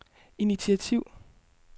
initiativ